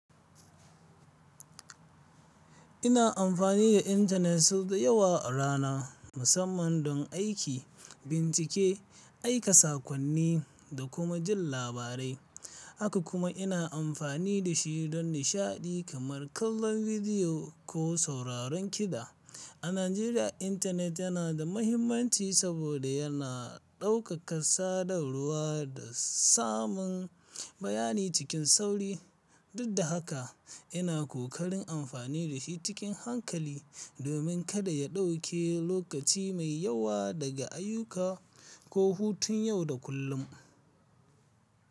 Ina amfani da intanet sau da yawa a rana, musamman don aiki, bincike, aika saƙonni da kuma jin labarai. Haka kuma ina amfani da shi don nishaɗi kamar kallon bidiyo ko sauraron kiɗa. A Najeriya, intanet yana da mahimmanci saboda yana ɗaukaka sadarwa da samun bayani cikin sauri. Dud da haka, ina kokarin amfani da shi cikin hankali, domin kada ya ɗauke lokaci mai yawa daga ayyuka ko hutun yau da kullum.